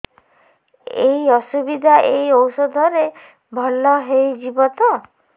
ଏଇ ଅସୁବିଧା ଏଇ ଔଷଧ ରେ ଭଲ ହେଇଯିବ ତ